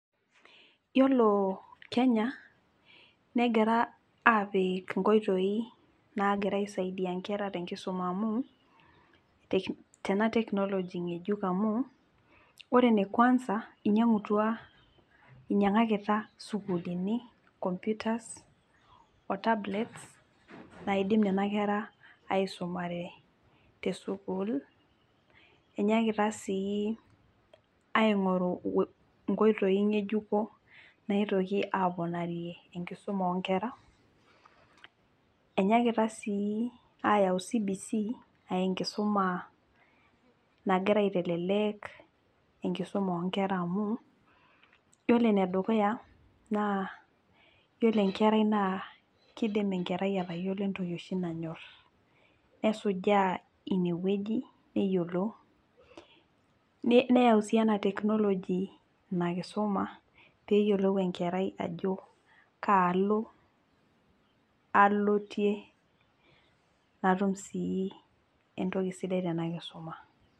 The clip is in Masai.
Yiolo kenya negira apik nkoitoi nagira aisaidia nkera amu tenatechnology ngejuk amu ore enekwanza inyangutua, inyangakita sukuulini computers, otablets naidim nena kera aisumare tesukuul , enyakita sii aingoru nkoitoi ngejuko naitoki aponarie enkisuma onkera ,enyakita sii ayau CBC aa enkisuma nagira aitelelek enkisuma onkera amu yiolo enedukuya yiolo enkerai naa kidim enkerai atayiolo entoki oshi nanyor , nesujaa inewueji neyiolou ,neyau sii enatechnology inakisuma peyiolou enkerai ajo kaalo alotie natum sii entoki sidai tenakisuma.